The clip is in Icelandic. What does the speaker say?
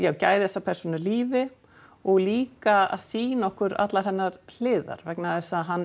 að gæða þessa persónu lífi og líka að sýna okkur allar hennar hliðar vegna þess að hann